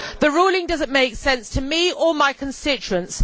The ruling does not make sense to me or my constituents.